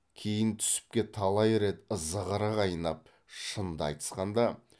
кейін түсіпке талай рет зығыры қайнап шынды айтысқанда